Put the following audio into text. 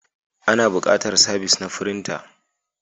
Ana buƙatar sabis na firinta.